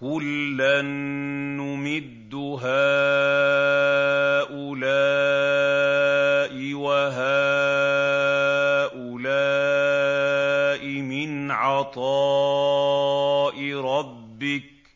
كُلًّا نُّمِدُّ هَٰؤُلَاءِ وَهَٰؤُلَاءِ مِنْ عَطَاءِ رَبِّكَ ۚ